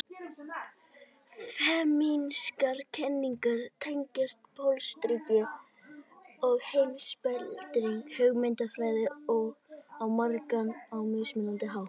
Femínískar kenningar tengjast pólitískri og heimspekilegri hugmyndafræði á margan og mismunandi hátt.